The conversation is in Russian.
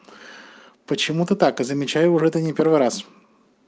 почему ты так и замечаю уже это не первый раз